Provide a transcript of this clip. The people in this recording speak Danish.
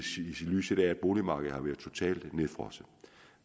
lyset af at boligmarkedet har været totalt nedfrosset